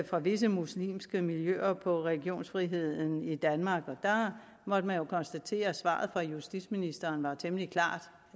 fra visse muslimske miljøer på religionsfriheden i danmark der måtte man jo konstatere at svaret fra justitsministeren var temmelig klart